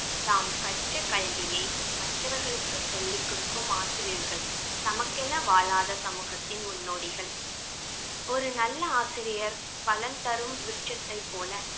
தாம் கற்ற கல்வியை மற்றவர்களுக்கு சொல்லிக் கொடுக்கும் ஆசிரியர்கள் தமக்கென வாழாத சமூகத்தின் முன்னோடிகள் ஒரு நல்ல ஆசிரியர் பலன் தரும் விருச்சத்தை போல பல